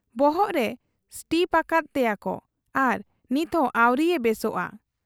ᱵᱚᱦᱚᱜ ᱨᱮ ᱥᱴᱤᱯ ᱟᱠᱟᱫ ᱮᱭᱟᱠᱚ ᱟᱨ ᱱᱤᱛᱦᱚᱸ ᱟᱹᱣᱨᱤᱭᱮ ᱵᱮᱥᱚᱜ ᱟ ᱾